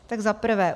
Tak za prvé.